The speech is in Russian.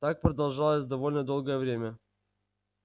так продолжалось довольно долгое время